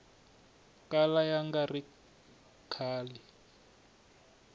kala ya nga ri kahle